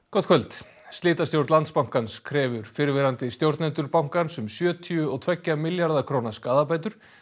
gott kvöld slitastjórn Landsbankans krefur fyrrverandi stjórnendur bankans um sjötíu og tveggja milljarða króna skaðabætur